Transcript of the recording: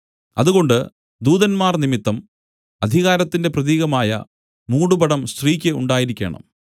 അതുകൊണ്ട് ദൂതന്മാർ നിമിത്തം അധികാരത്തിന്റെ പ്രതീകമായ മൂടുപടം സ്ത്രീക്ക് ഉണ്ടായിരിക്കേണം